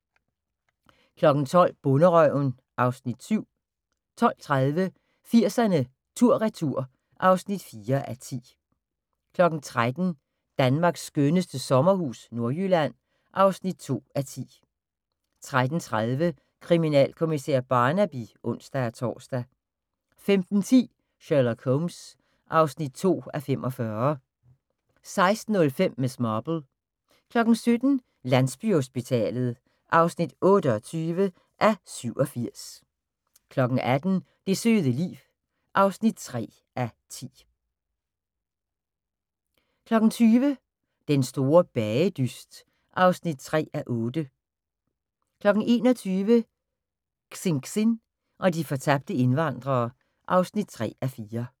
12:00: Bonderøven (Afs. 7) 12:30: 80'erne tur retur (4:10) 13:00: Danmarks skønneste sommerhus – Nordjylland (2:10) 13:30: Kriminalkommissær Barnaby (ons-tor) 15:10: Sherlock Holmes (2:45) 16:05: Miss Marple 17:00: Landsbyhospitalet (28:87) 18:00: Det søde liv (3:10) 20:00: Den Store Bagedyst (3:8) 21:00: Xinxin og de fortabte indvandrere (3:4)